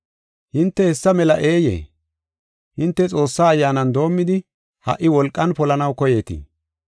Hinte hessa mela eeyee? Hinte Xoossaa Ayyaanan doomidi, ha77i wolqan polanaw koyeetii?